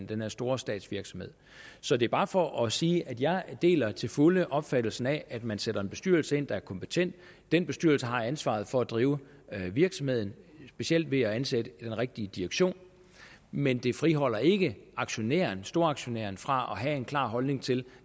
den her store statsvirksomhed så det er bare for at sige at jeg deler til fulde opfattelsen af at man sætter en bestyrelse ind der er kompetent den bestyrelse har ansvaret for at drive virksomheden specielt ved at ansætte den rigtige direktion men det friholder ikke aktionæren storaktionæren fra at have en klar holdning til